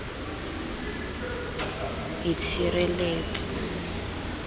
itshireletso